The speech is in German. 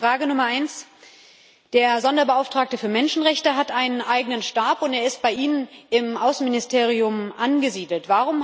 Frage Nummer eins Der Sonderbeauftragte für Menschenrechte hat einen eigenen Stab, und dieser ist bei Ihnen im Auswärtigen Dienst angesiedelt.